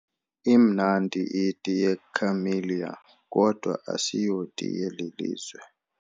Imnamdi iti yeCamellia kodwa asiyoti yeli lizwe.